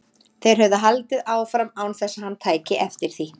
Þeir höfðu haldið áfram án þess að hann tæki eftir því.